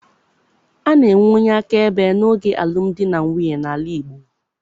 A na-enwe onye akaebe n'oge alụm di na nwunye n'ala Igbo.